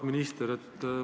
Auväärt minister!